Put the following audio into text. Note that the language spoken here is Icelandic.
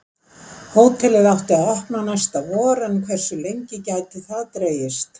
Hótelið átti að opna næsta vor en hversu lengi gæti það dregist?